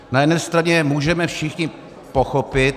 Na jedné straně můžeme všichni pochopit...